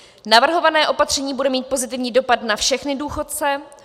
Navrhované opatření bude mít pozitivní dopad na všechny důchodce.